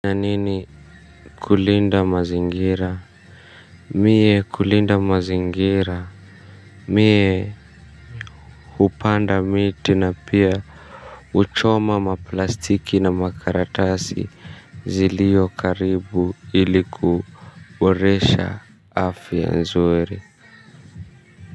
Nanini kulinda mazingira. Mie kulinda mazingira. Mie hupanda miti na pia huchoma maplastiki na makaratasi ziliyo karibu ili ku boresha afya nzuri.